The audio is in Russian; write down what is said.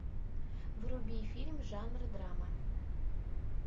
вруби фильм жанра драма